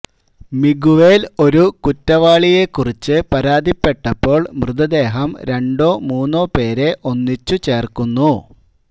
Miguel ഒരു കുറ്റവാളിയെക്കുറിച്ച് പരാതിപ്പെട്ടപ്പോൾ മൃതദേഹം രണ്ടോ മൂന്നോ പേരെ ഒന്നിച്ചു ചേർക്കുന്നു